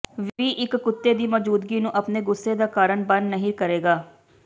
ਵੀ ਇੱਕ ਕੁੱਤੇ ਦੀ ਮੌਜੂਦਗੀ ਨੂੰ ਆਪਣੇ ਗੁੱਸੇ ਦਾ ਕਾਰਨ ਬਣ ਨਹੀ ਕਰੇਗਾ